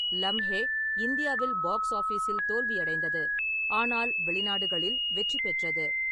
லம்ஹே இந்தியாவில் பாக்ஸ் ஆபிஸில் தோல்வியடைந்தது, ஆனால் வெளிநாடுகளில் வெற்றி பெற்றது.